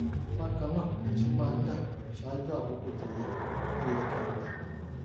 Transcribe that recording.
bákan náà mo tún máa ń dà ṣaájú àkókò tó yẹ tó yẹ kí n dà